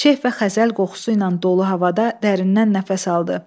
Şeh və xəzəl qoxusu ilə dolu havada dərindən nəfəs aldı.